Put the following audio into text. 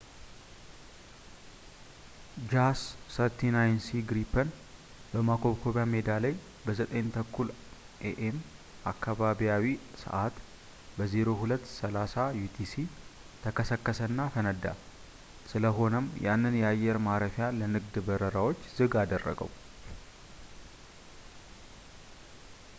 jas 39c gripen በማኮብኮብያ ሜዳ ላይ በ9፡30 am አካባቢያዊ ሰዕት 0230 utc ተከሰከሰ እና ፈነዳ፣ ስለሆነም ያንን የአየር ማረፊያ ለንግድ በረራውች ዝግ አደረገው